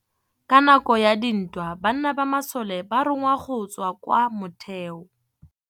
Ka nakô ya dintwa banna ba masole ba rongwa go tswa kwa mothêô.